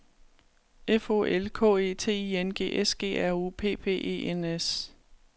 F O L K E T I N G S G R U P P E N S